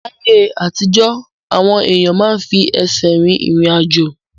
Láyé àtijọ́, àwọn èèyàn máa ń fi ẹsẹ̀ rìn irin-ajo